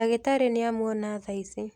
Ndagitarĩ nĩ amwona thaici.